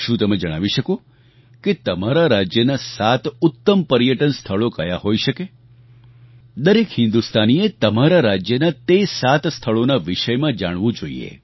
શું તમે જણાવી શકો કે તમારા રાજ્યનાં સાત ઉત્તમ પર્યટન સ્થળો કયા હોઈ શકે દરેક હિન્દુસ્તાનીએ તમારા રાજ્યના તે સાત સ્થળોના વિષયમાં જાણવું જોઈએ